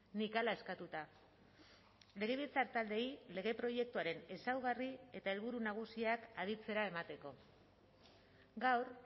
nik hala eskatuta legebiltzar taldeei lege proiektuaren ezaugarri eta helburu nagusiak aditzera emateko gaur